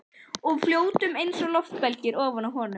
Og við fljótum einsog loftbelgir ofan á honum.